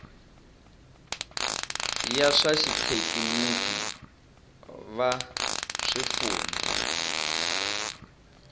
va swa xithekiniki va swifundzha